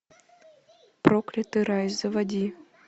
проклятый рай заводи